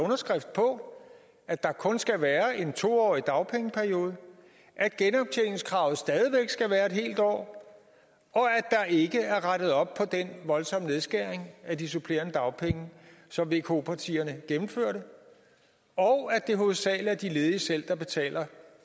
underskrift på at der kun skal være en to årig dagpengeperiode at genoptjeningskravet stadig væk skal være et helt år at der ikke er rettet op på den voldsomme nedskæring af de supplerende dagpenge som vko partierne gennemførte og at det hovedsagelig er de ledige selv der betaler